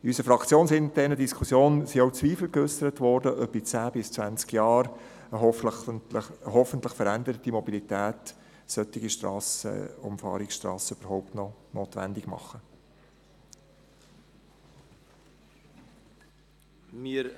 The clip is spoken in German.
In unserer fraktionsinternen Diskussion wurden auch Zweifel daran geäussert, ob in zehn bis zwanzig Jahren eine hoffentlich veränderte Mobilität solche Umfahrungsstrassen überhaupt noch notwendig machen wird.